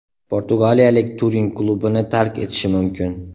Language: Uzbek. Portugaliyalik Turin klubini tark etishi mumkin.